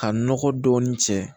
Ka nɔgɔ dɔɔni cɛ